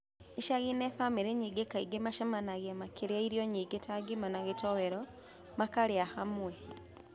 Icagi-inĩ, bamĩrĩ nyingĩ kaingĩ macemanagia makĩrĩ irio nyingĩ ta ngima na gĩtowero, makarĩa hamwe